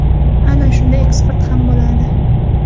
Ana shunda eksport ham bo‘ladi.